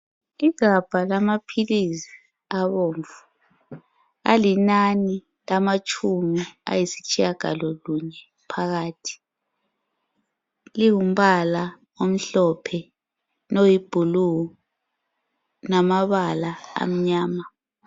igabha lamaphilisi abomvu alinani alitshumi ayisitshiyagalo lunye phakathi lingumbala omhlophe loyi blue lamabala amanyama